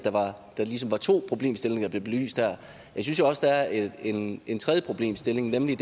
der ligesom er to problemstillinger der bliver belyst her jeg synes jo også at der er en en tredje problemstilling nemlig